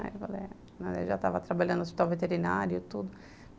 Aí eu falei, é, já estava trabalhando no hospital veterinário e tudo.